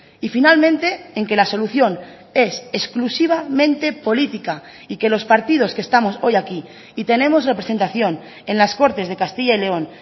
y finalmente en que la solución es exclusivamente política y que los partidos que estamos hoy aquí y tenemos representación en las cortes de castilla y león